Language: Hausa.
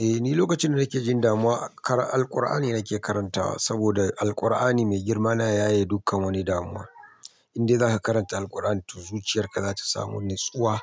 Eh ni lokacin da nake jin damuwa Al-Qur'an ne nake karantawa saboda Al-Qur'an ne mai girma na yaye dukkan wani damuwa. In dai za ka karanta Al-Qur'an zuciyar ka za ta samu natsuwa,